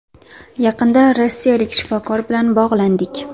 Yaqinda rossiyalik shifokor bilan bog‘landik.